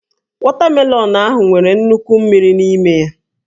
Wọtamelọnụ ahụ nwere nnukwu mmiri n'ime ya